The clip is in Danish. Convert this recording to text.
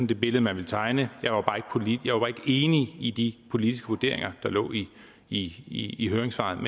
det billede man ville tegne jeg var bare ikke enig i de politiske vurderinger der lå i i høringssvarene